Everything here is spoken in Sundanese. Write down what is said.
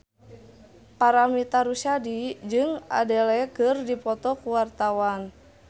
Paramitha Rusady jeung Adele keur dipoto ku wartawan